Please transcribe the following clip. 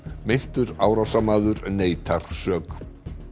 meintur árásarmaður neitar sök